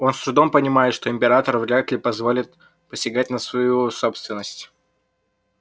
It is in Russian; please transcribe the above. он с трудом понимает что император вряд ли позволит посягать на свою собственность